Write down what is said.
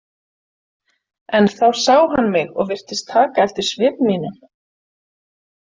En þá sá hann mig og virtist taka eftir svip mínum.